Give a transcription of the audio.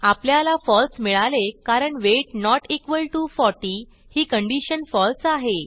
आपल्याला फळसे मिळाले कारण वेट नोट इक्वॉल टीओ 40 ही कंडिशन फळसे आहे